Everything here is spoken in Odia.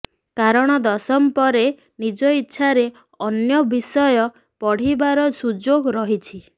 କାରଣ ଦଶମ ପରେ ନିଜ ଇଚ୍ଛାରେ ଅନ୍ୟ ବିଷୟ ପଢ଼ିବାର ସୁଯୋଗ ରହିଛି